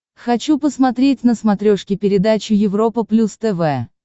хочу посмотреть на смотрешке передачу европа плюс тв